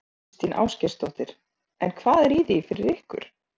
Þóra Kristín Ásgeirsdóttir: En hvað er í því fyrir ykkur?